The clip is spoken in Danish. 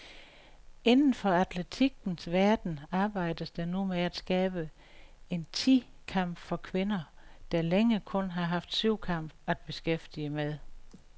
Inden for atletikkens verden arbejdes der nu med at skabe en ti kamp for kvinder, der længe kun har haft syvkamp at beskæftige med.